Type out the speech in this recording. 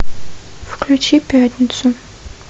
включи пятницу